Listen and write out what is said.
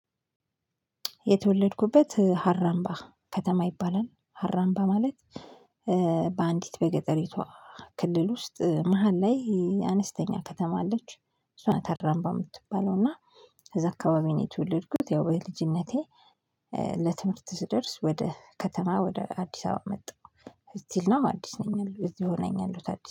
የተወለድኩበት ሀራምባ ከተማ ይባላል ሀራምባ ማለት። በአንዲት በገጠሪቷ ክልል ውስጥ መሃል ላይ አነስተኛ ከተማ አለች እሷ ናት። ሀራምባ የምትባለው እና እዛ አካባቢ ነው የተወለድኩት። ያው በልጅነቴ ለትምህርት ስደርስ ወደ ከተማ ወደ አዲስ አበባ መጣሁ። ስቲል ናው አዲስ ነኝ ያለሁት እዚሁ ነው ያለሁት አዲስ